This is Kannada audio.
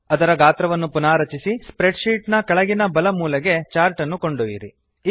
ಅದರ ಗಾತ್ರವನ್ನು ಪುನಾರಚಿಸಿ ಸ್ಪ್ರೆಡ್ ಶೀಟ್ ನ ಕೆಳಗಿನ ಬಲ ಮೂಲೆಗೆ ಚಾರ್ಟ್ ಅನ್ನು ಕೊಂಡೊಯ್ಯಿರಿ